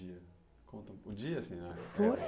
O dia, conta o dia assim ah? Foi